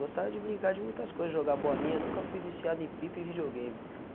Gostava de brincar de muitas coisas, jogar bolinha, nunca fui viciado em Pip e videogame.